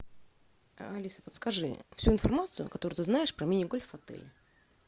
алиса подскажи всю информацию которую ты знаешь про мини гольф в отеле